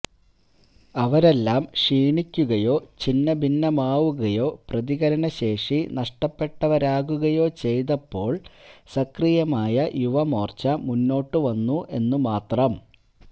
അവരെല്ലാം ക്ഷീണിക്കുകയോ ഛിന്നഭിന്നമാവുകയോ പ്രതികരണശേഷി നഷ്ടപ്പെട്ടവരാകുകയോ ചെയ്തപ്പോള് സക്രിയമായ യുവമോര്ച്ച മുന്നോട്ടുവന്നു എന്നുമാത്രം